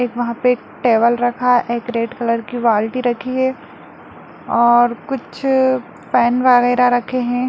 एक वहा पे एक टेबल रखा है एक रेड कलर की बाल्टी रखी हैं और कुछ पेन वैगैरा रखे है।